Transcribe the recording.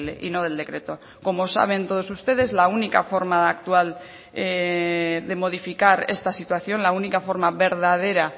y no del decreto como saben todos ustedes la única forma actual de modificar esta situación la única forma verdadera